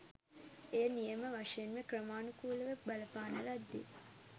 එය නියම වශයෙන්ම ක්‍රමානුකූලව බලපාන ලද්දේ